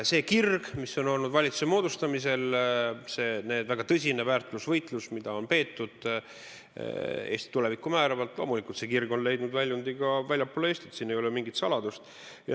See kirg, mis on olnud valitsuse moodustamisel, see väga tõsine väärtusvõitlus, mida on peetud Eesti tulevikku määravalt, on loomulikult leidnud väljundi ka väljapoole Eestit, siin ei ole mingit saladust.